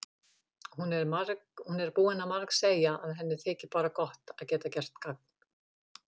Hún er búin að margsegja að henni þyki bara gott að geta gert gagn.